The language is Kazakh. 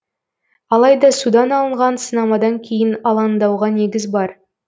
алайда судан алынған сынамадан кейін алаңдауға негіз бар